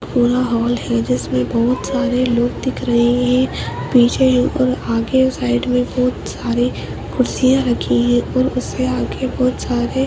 पूरा हॉल है जिसमे बहोत सारे लोग दिख रहे हैं पीछे और आगे साइड मे बहोत सारे कुर्सियां रखी हैं और उससे आगे बहोत सारे --